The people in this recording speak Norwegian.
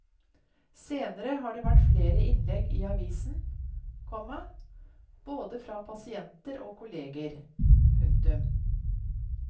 Senere har det vært flere innlegg i avisen, komma både fra pasienter og kolleger. punktum